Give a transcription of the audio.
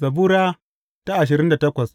Zabura Sura ashirin da takwas